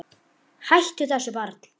Hættu þessu barn!